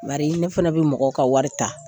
Bari ne fana bi mɔgɔw ka wari ta.